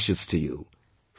Best wishes to you